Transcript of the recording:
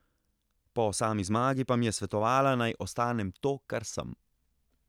Po sami zmagi pa mi je svetovala, naj ostanem to, kar sem.